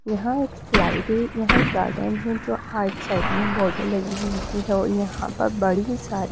यहां एक स्लाइड है यहां एक गार्डन है जो आर्ट साइड में बॉर्डर लगी हुई है। और यहां पर बड़ी सारी--